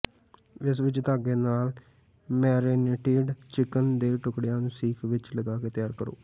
ਇਸ ਵਿਚ ਧਾਗੇ ਨਾਲ ਮੈਰਿਨੇਟਿਡ ਚਿਕਨ ਦੇ ਟੁਕੜਿਆਂ ਨੂੰ ਸੀਖ ਵਿਚ ਲਗਾ ਕੇ ਤਿਆਰ ਕਰੋ